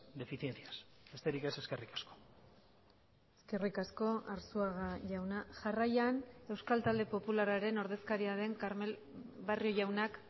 deficiencias besterik ez eskerrik asko eskerrik asko arzuaga jauna jarraian euskal talde popularraren ordezkaria den barrio jaunak